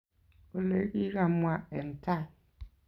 Olegigamwaa eng tai